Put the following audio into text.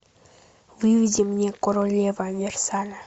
выведи мне королева версаля